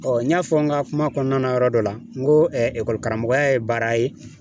Ɔ n y'a fɔ n ka kuma kɔnɔna na yɔrɔ dɔ la n ko karamɔgɔya ye baara ye